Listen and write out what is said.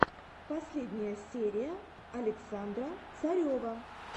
последняя серия александра царева